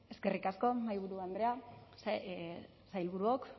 eskerrik asko mahaiburu andrea sailburuok